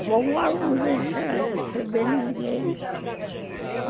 A vovó não deixa receber ninguém.